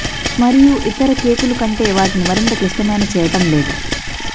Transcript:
మరియు ఇతర కేకులు కంటే వాటిని మరింత క్లిష్టమైన చేయటం లేదు